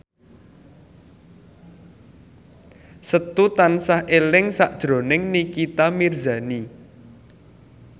Setu tansah eling sakjroning Nikita Mirzani